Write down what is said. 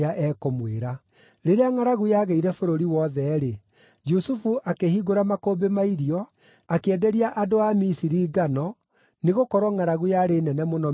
Rĩrĩa ngʼaragu yagĩire bũrũri wothe-rĩ, Jusufu akĩhingũra makũmbĩ ma irio, akĩenderia andũ a Misiri ngano, nĩgũkorwo ngʼaragu yarĩ nene mũno Misiri guothe.